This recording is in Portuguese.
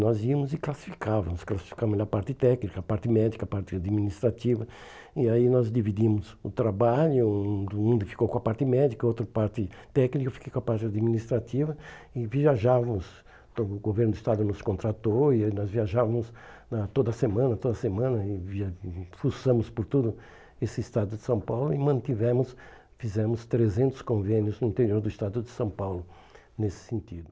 Nós íamos e classificávamos, classificávamos a parte técnica, a parte médica, a parte administrativa, e aí nós dividimos o trabalho, um do mundo ficou com a parte médica, outro parte técnica, eu fiquei com a parte administrativa, e viajávamos, todo o governo do estado nos contratou, e nós viajávamos ah toda semana, toda semana, e vi e fuçamos por todo esse estado de São Paulo, e mantivemos, fizemos trezentos convênios no interior do estado de São Paulo, nesse sentido.